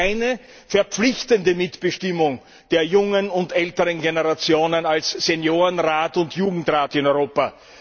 Es gibt keine verpflichtende Mitbestimmung der jungen und älteren Generationen als Seniorenrat und Jugendrat in Europa.